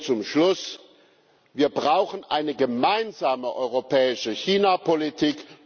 Zum Schluss Wir brauchen eine gemeinsame europäische Chinapolitik.